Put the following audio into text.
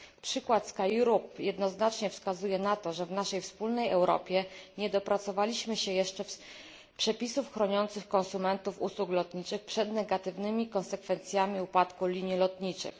Przykład SkyEurope jednoznacznie wskazuje na to, że w naszej wspólnej Europie nie dopracowaliśmy się jeszcze przepisów chroniących konsumentów usług lotniczych przed negatywnymi konsekwencjami upadku linii lotniczych.